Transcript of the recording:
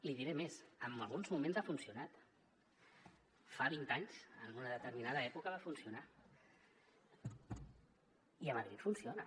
li diré més en alguns moments ha funcionat fa vint anys en una determinada època va funcionar i a madrid funciona